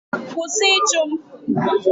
Kwụsị ịchụ m!